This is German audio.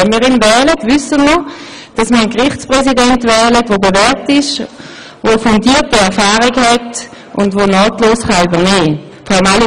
Wenn wir ihn wählen, wissen wir, dass wir uns für einen Gerichtspräsidenten entscheiden, der bewährt ist, der fundierte Erfahrungen mitbringt und der nahtlos übernehmen kann.